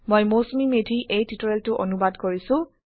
মই মৌচুমী মেধি এই টিউটোৰিয়েল টো অনুবাদ কৰিছো